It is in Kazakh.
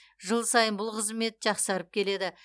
жыл сайын бұл қызмет жақсарып келеді